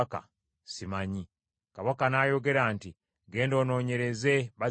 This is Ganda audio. Kabaka n’ayogera nti, “Genda onoonyereze bazadde b’omuvubuka oyo.”